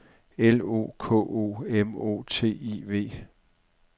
L O K O M O T I V